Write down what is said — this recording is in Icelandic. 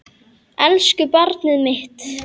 Elsku barnið mitt.